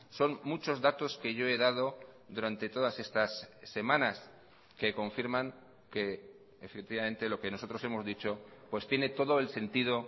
son muchos datos que yo he dado durante todas estas semanas que confirman que efectivamente lo que nosotros hemos dicho pues tiene todo el sentido